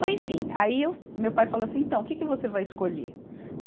Mas enfim, aí eu, meu pai falou assim, então, o que que você vai escolher?